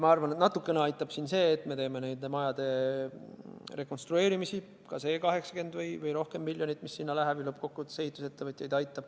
Ma arvan, et natukene aitab see, et me teeme majade rekonstrueerimist – ka see 80 miljonit või rohkem, mis selle peale läheb, ju lõppkokkuvõttes aitab ehitusettevõtjaid.